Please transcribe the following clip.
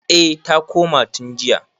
eh ta koma tun jiya